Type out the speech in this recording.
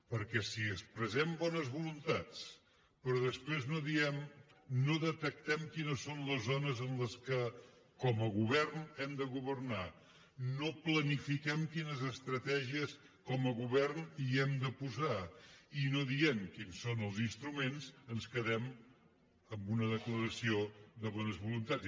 perquè si expressem bones voluntats però després no detectem quines són les zones en què com a govern hem de governar no planifiquem quines estratègies com a govern hi hem de posar i no diem quins són els instruments ens quedem amb una declaració de bones voluntats